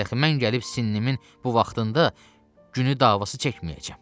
Dəxi mən gəlib sinəmin bu vaxtında günü davası çəkməyəcəm.